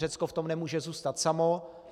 Řecko v tom nemůže zůstat samo.